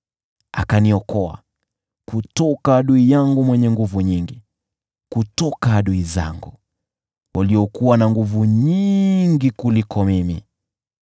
Aliniokoa kutoka adui wangu mwenye nguvu nyingi, kutoka adui zangu waliokuwa na nguvu nyingi kuliko mimi.